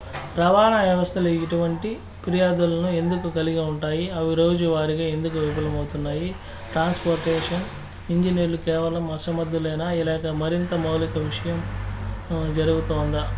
రవాణా వ్యవస్థలు ఇటువంటి ఫిర్యాదులను ఎందుకు కలిగి ఉంటాయి అవి రోజువారీగా ఎందుకు విఫలమవుతున్నాయి ట్రాన్స్ పోర్టేషన్ ఇంజినీర్లు కేవలం అసమర్థులేనా లేక మరింత మౌలికమైన విషయం జరుగుతోందా